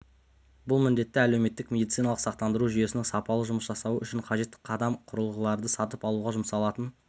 бұл міндетті әлеуметтік медициналық сақтандыру жүйесінің сапалы жұмыс жасауы үшін қажет қадам құрылғыларды сатып алуға жұмсалатын